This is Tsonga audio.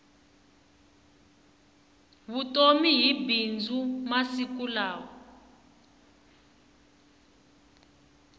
vutomi hi bindzu masiku lawa